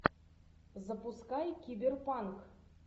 запускай киберпанк